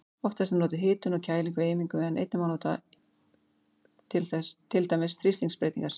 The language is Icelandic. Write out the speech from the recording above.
Oftast er notuð hitun og kæling við eimingu en einnig má nota til dæmis þrýstingsbreytingar.